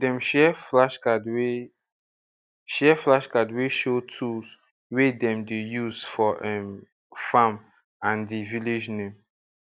dem share flashcard wey share flashcard wey show tool wey dem dey use for um farm and der village name